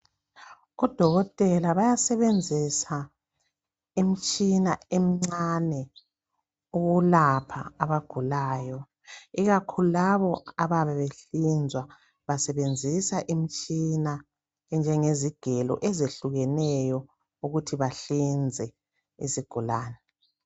Odokotela bayasebenzisa imitshina emncane ukulapha abagulayo ikakhulu labo abayabe behlinzwa basebenzisa imitshina enjengezigelo ezehlukeneyo ukuthi bahlinze izigulane.